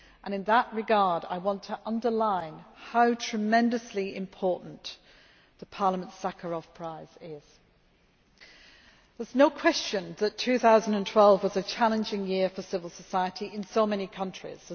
In that regard I would like to underline how tremendously important Parliament's Sakharov prize is. There is no question that 2012 was a challenging year for civil society in so many countries.